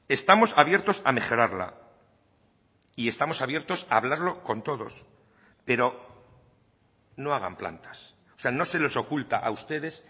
estamos abiertos a mejorarla y estamos abiertos a hablarlo con todos pero no hagan plantas o sea no se les oculta a ustedes